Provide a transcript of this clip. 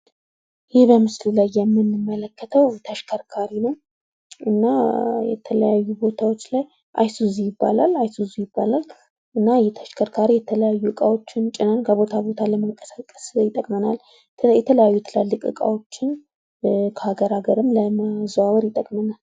ይህ በምስሉ ላይ የምንመለከተው ተሽከርካሪ ነው። እና የተለያዩ ቦታዎች ላይ አይሱዚ ይባላል። እና ይህ ተሽከርካሪ የተለያዩ እቃዎችን ጭነን ከቦታ ቦታ ለመንቀሳቀስ ይጠቅመናል። የተለያዩ ትላልቅ ዕቃዎችን ከአገር አገር ለማዘዋወር ይጠቅመናል።